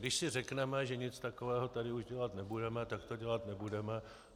Když si řekneme, že nic takového tady už dělat nebudeme, tak to dělat nebudeme.